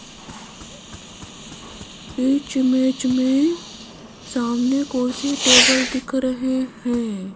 इस इमेज में सामने कुर्सी टेबल दिख रहे हैं।